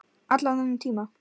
Allan þennan tíma.